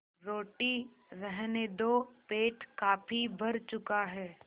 रोटी रहने दो पेट काफी भर चुका है